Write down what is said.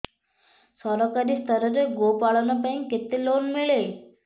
ସରକାରୀ ସ୍ତରରେ ଗୋ ପାଳନ ପାଇଁ କେତେ ଲୋନ୍ ମିଳେ